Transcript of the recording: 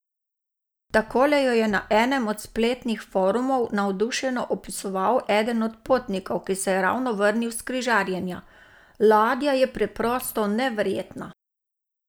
Takole jo je na enem od spletnih forumov navdušeno opisoval eden od potnikov, ki se je ravno vrnil s križarjenja: 'Ladja je preprosto neverjetna!